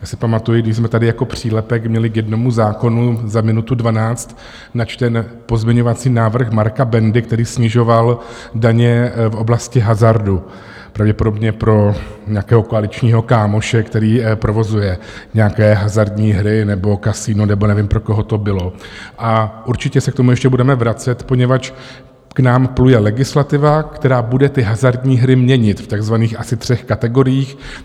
Já si pamatuji, když jsme tady jako přílepek měli k jednomu zákonu za minutu dvanáct načten pozměňovací návrh Marka Bendy, který snižoval daně v oblasti hazardu, pravděpodobně pro nějakého koaličního kámoše, který provozuje nějaké hazardní hry nebo kasino, nebo nevím, pro koho to bylo, a určitě se k tomu ještě budeme vracet, poněvadž k nám pluje legislativa, která bude ty hazardní hry měnit v takzvaných asi třech kategoriích.